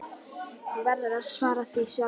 Þú verður að svara því sjálfur.